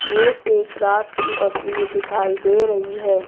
ये एक रात की तस्वीर दिखाई दे रही है।